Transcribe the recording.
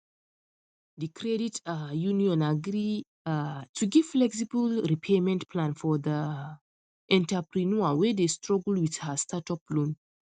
the credit um union agree um to give flexible repayment plan for the um entrepreneur wey dey struggle with her startup loan